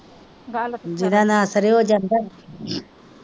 ਜਿਦਾ ਨਾਂ ਸਰੈ ਓਹ ਜਾਂਦਾ,